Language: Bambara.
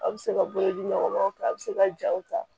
A bɛ se ka bɔ dimɔgɔw ta a bɛ se ka jaw ta